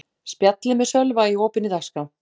Spjallið með Sölva í opinni dagskrá